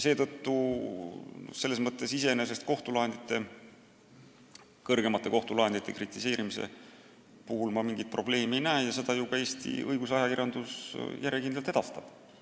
Selles mõttes ma kõrgeimate kohtulahendite kritiseerimise puhul mingit probleemi ei näe ja seda kriitikat ju Eesti õigusajakirjandus järjekindlalt ka edastab.